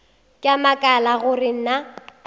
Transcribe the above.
ke a makala gore na